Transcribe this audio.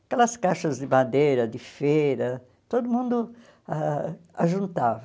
Aquelas caixas de madeira de feira, todo mundo ãh ajuntava.